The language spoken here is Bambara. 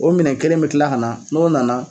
O minɛ kelen bɛ tila kq na n'o nana